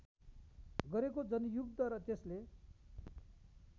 गरेको जनयुद्ध र त्यसले